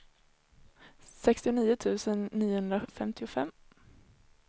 sextionio tusen niohundrafemtiofem